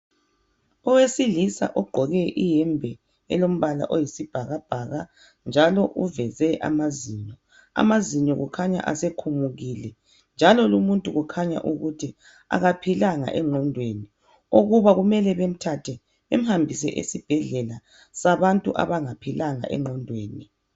Owesilisa ogqoke iyembe elombala oyisibhakabhaka njalo uveze amazinyo . Amazinyo kukhanya asekhumukile njalo lumuntu kukhanya akaphilanga engqondweni okuba kumele bemthathe bemhambise esibhedlela sabantu abangaphilanga engqondweni